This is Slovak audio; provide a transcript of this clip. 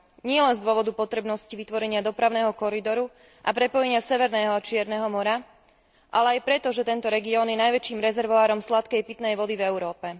Nielen z dôvodu potrebnosti vytvorenia dopravného koridoru a prepojenia Severného a Čierneho mora, ale aj preto, že tento región je najväčším rezervoárom sladkej pitnej vody v Európe.